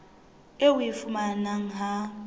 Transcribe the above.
eo o e fumanang ha